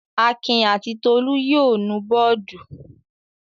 Akin àti Tolú yóò nu bọ́ọ́dù.